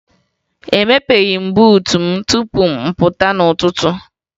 Emepeghi m buutu m tupu m pụta n'ụtụtụ